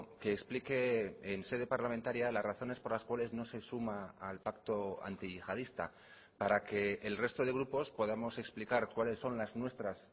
que explique en sede parlamentaria las razones por las cuales no se suma al pacto antiyihadista para que el resto de grupos podamos explicar cuáles son las nuestras